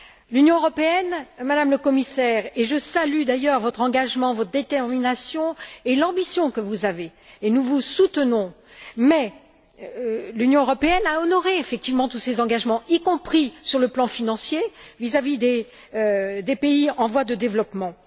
L'Union européenne, Madame le Commissaire, et je salue d'ailleurs votre engagement, votre détermination et l'ambition que vous avez et nous vous soutenons l'Union européenne a honoré effectivement tous ces engagements y compris sur le plan financier vis à vis des pays en voie de développement.